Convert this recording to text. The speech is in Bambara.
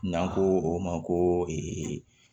N'an ko o ma ko